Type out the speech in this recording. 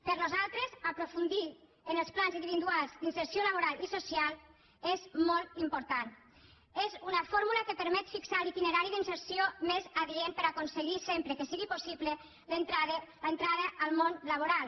per a nosaltres aprofundir en els plans individuals d’inserció laboral i social és molt important és una fórmula que permet fixar l’itinerari d’inserció més adient per a aconseguir sempre que sigui possible l’entrada al món laboral